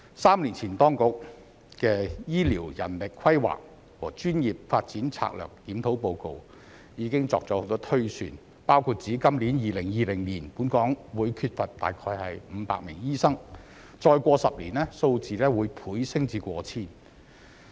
三年前當局的《醫療人力規劃和專業發展策略檢討》報告已作了很多推算，包括指今年2020年本港會缺少約500名醫生，再過多10年，數字會倍增至過千名。